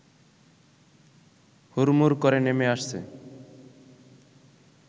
হুড়মুড় করে নেমে আসছে